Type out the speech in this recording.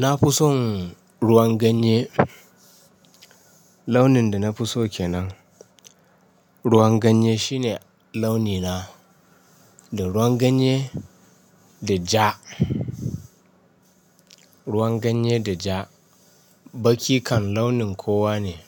Na fi son ruwan ganye. Launin da na fi so kenan ruwan ganye shine launi na. Da ruwan ganye da ja. Ruwan ganye da ja baki kan launin kowa ne,